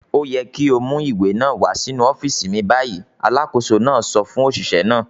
"Ó yẹ kí ó mú ìwé náà wá sínú ọ́fíísì mi báyìí!" Alákòóso náà sọ fún òṣìṣẹ́ náà.